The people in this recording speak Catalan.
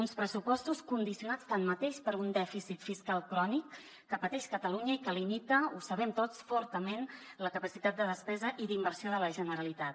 uns pressupostos condicionats tanmateix per un dèficit fiscal crònic que pateix catalunya i que limita ho sabem tots fortament la capacitat de despesa i d’inversió de la generalitat